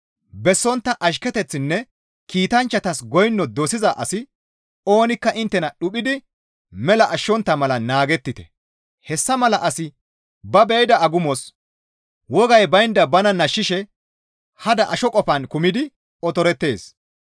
Bessontta ashketeththinne kiitanchchatas goyno dosiza asi oonikka inttena dhuphidi mela ashshontta mala naagettite; hessa mala asi ba be7ida agumos wogay baynda bana nashshishe hada asho qofaan kumidi otorettees.